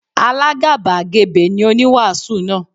Alágàbàgebè ni oníwàásù náà.